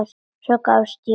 Svo gafst ég upp.